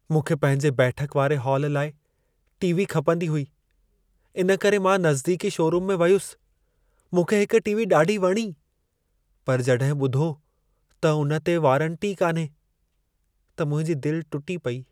मूंखे पंहिंजे बैठक वारे हाल लाइ टी.वी. खपंदी हुई। इन करे मां नज़दीकी शोरूम में वयुसि। मूंखे हिक टी.वी. ॾाढी वणी, पर जॾहिं ॿुधो त उन ते वारंटी ई कान्हे, त मुंहिंजी दिलि टुटी पेई।